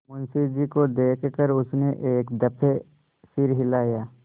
मुंशी जी को देख कर उसने एक दफे सिर हिलाया